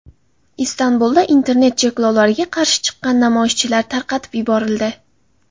Istanbulda internet cheklovlariga qarshi chiqqan namoyishchilar tarqatib yuborildi.